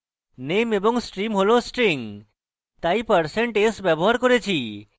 name এবং stream হল strings তাই আমরা% s ব্যবহার করেছি